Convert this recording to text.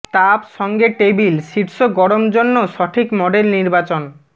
তাপ সঙ্গে টেবিল শীর্ষ গরম জন্য সঠিক মডেল নির্বাচন